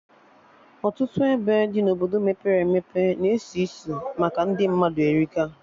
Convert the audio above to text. Ọtụtụ ebe dị na Obodo mepere emepe na-esi isi maka ndị mmadụ erika